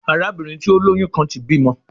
Arabinrin ti o loyun kan ti bimọ